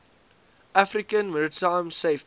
african maritime safety